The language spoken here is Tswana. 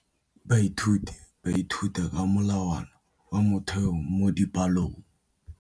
Baithuti ba ithuta ka molawana wa motheo mo dipalong.